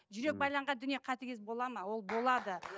жүрек байланған дүние қатыгез бола ма ол болады